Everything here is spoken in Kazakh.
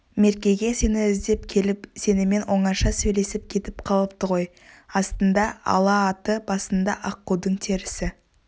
меркеге сені іздеп келіп сенімен оңаша сөйлесіп кетіп қалыпты ғой астында ала аты басында аққудың терісі